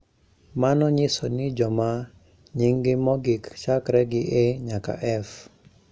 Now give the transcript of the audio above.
Mano nyiso ni joma nyinggi mogik chakre gi A nyaka F